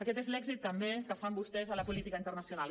aquest és l’èxit també que tenen vostès en la política internacional